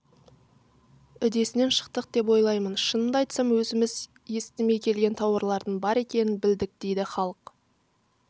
үдесінен шықтық деп ойлаймын шынымды айтсам өзіміз естімей келген тауарлардың бар екенін білдік дейді халық